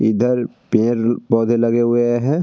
इधर पेर -पौधे लगे हुए हैं।